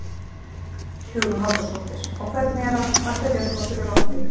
Hugrún Halldórsdóttir: Og hvernig er að, að byrja svona á þurru landi?